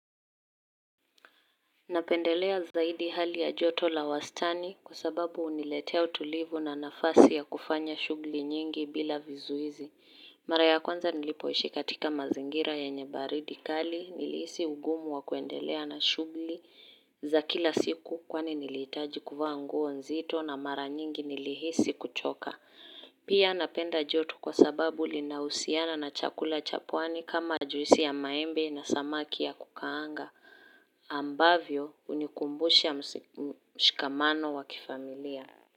Napendelea zaidi hali ya joto la wastani kwa sababu huniletea utulivu na nafasi ya kufanya shughuli nyingi bila vizuizi. Mara ya kwanza nilipoishi katika mazingira yenye baridi kali nilihisi ugumu wa kuendelea na shughuli za kila siku kwani nilihitaji kuvaa nguo nzito na mara nyingi nilihisi kuchoka. Pia napenda joto kwa sababu linahusiana na chakula cha pwani kama juisi ya maembe na samaki ya kukaanga. Ambavyo hunikumbusha mshikamano wa kifamilia.